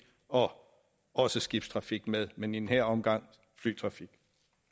og også skibstrafik med men i den her omgang flytrafik